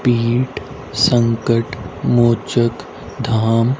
पीठ संकट मोचक धाम--